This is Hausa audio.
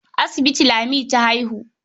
A asibiti Lami ta haihu.